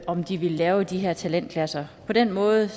om de vil lave de her talentklasser på den måde